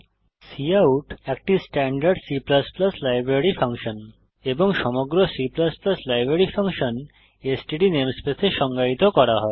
cout একটি standard C library function এবং সমগ্র C library function STD namespace এ সংজ্ঞায়িত করা হয়